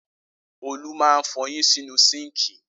Olú máa ń fọyín sínú síńkì.